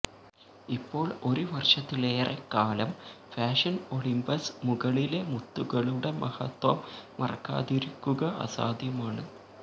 ഇപ്പോൾ ഒരു വർഷത്തിലേറെക്കാലം ഫാഷന് ഒളിമ്പസ് മുകളിലെ മുത്തുകളുടെ മഹത്വം മറക്കാതിരിക്കുക അസാധ്യമാണ്